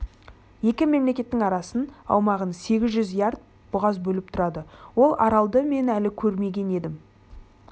екі мемлекеттің арасын аумағы сегіз жүз ярд бұғаз бөліп тұрады ол аралды мен әлі көрмеген едім